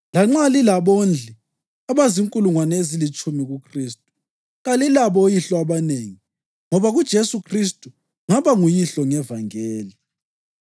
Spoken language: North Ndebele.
Lanxa lilabondli abazinkulungwane ezilitshumi kuKhristu, kalilabo oyihlo abanengi, ngoba kuJesu Khristu ngaba nguyihlo ngevangeli.